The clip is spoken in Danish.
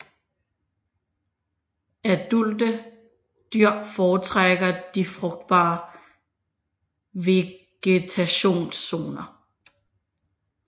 Adulte dyr foretrækker de frugtbare vegetationszoner